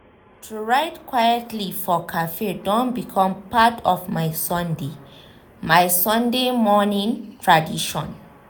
to write quitely for cafe don become part of my sunday my sunday morining tradition.